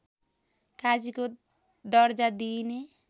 काजीको दर्जा दिइने